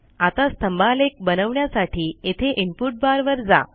आता स्तंभालेख बनवण्यासाठी येथे इनपुट बारवर जा